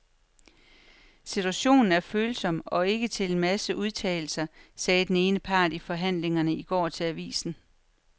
Situationen er følsom og ikke til en masse udtalelser, sagde den ene part i forhandlingerne i går til avisen.